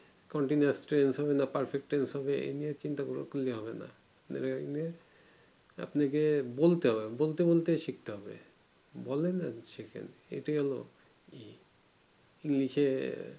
হবে এই নিয়ে চিন্তা করলে হবে না আপনাকে বলতে হবে বলতে বলতে শিখতে হবে বলেন আর শেখেন এটাই হলো